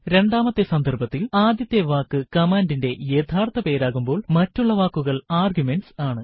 രണ്ടാമത്തെ സന്ദർഭത്തിൽ ആദ്യത്തെ വാക്ക് കമാൻഡിന്റെ യഥാർത്ഥ പേരാകുമ്പോൾ മറ്റുള്ള വാക്കുകൾ ആർഗ്യുമെന്റ്സ് ആണ്